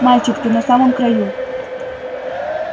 мальчик ты на самом краю